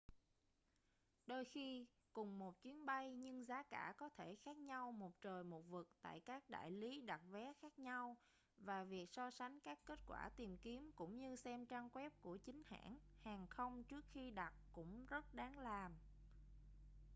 đôi khi cùng một chuyến bay nhưng giá cả có thể khác nhau một trời một vực tại các đại lý đặt vé khác nhau và việc so sánh các kết quả tìm kiếm cũng như xem trang web của chính hãng hàng không trước khi đặt cũng rất đáng làm